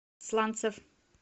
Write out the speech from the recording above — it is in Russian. сланцев